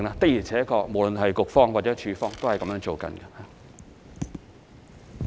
的而且確，無論是局方或署方，都是這樣處理的。